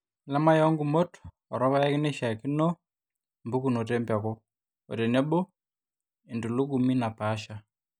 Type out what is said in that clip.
Elamai oongumot oorpaek naishiaakino, mpukunot empeku, ootenebo oentulugumi naapasha